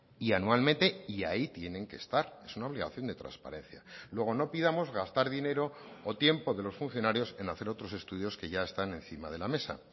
y anualmente y ahí tienen que estar es una obligación de transparencia luego no pidamos gastar dinero o tiempo de los funcionarios en hacer otros estudios que ya están encima de la mesa